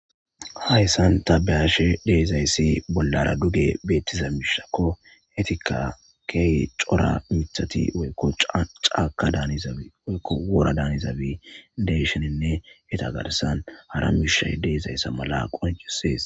Hayssan tabeyashe deezayssi bollara duge beettiza miishakko etika key cora mithati woykko caaka daanizaabi woykko wora daanizabi deshininne heta garsan hara miishay deezayssa mala qoncusees.